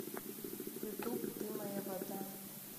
ютуб ты моя вода